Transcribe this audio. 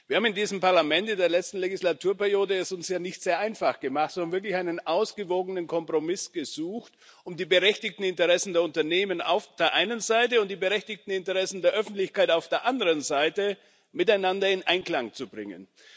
Wir haben es uns in der letzten Wahlperiode in diesem Parlament ja nicht sehr einfach gemacht und wirklich einen ausgewogenen Kompromiss gesucht, um die berechtigten Interessen der Unternehmen auf der einen Seite und die berechtigten Interessen der Öffentlichkeit auf der anderen Seite miteinander in Einklang zu bringen.